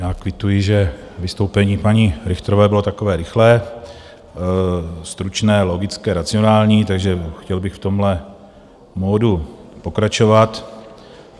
Já kvituji, že vystoupení paní Richterové bylo takové rychlé, stručné, logické, racionální, takže chtěl bych v tomhle modu pokračovat.